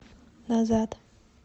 назад